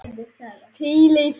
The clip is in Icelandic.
Hvíl í friði, elsku Lilla.